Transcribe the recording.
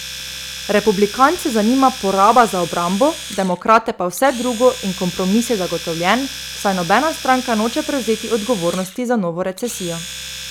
Republikance zanima poraba za obrambo, demokrate pa vse drugo in kompromis je zagotovljen, saj nobena stranka noče prevzeti odgovornosti za novo recesijo.